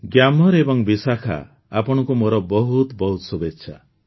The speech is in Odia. ଗ୍ୟାମର ଏବଂ ବିଶାଖା ଆପଣଙ୍କୁ ମୋର ବହୁତ ବହୁତ ଶୁଭେଚ୍ଛା